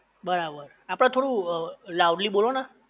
બરાબર છે આપડે થોડુ લાઉડલી બોલો ને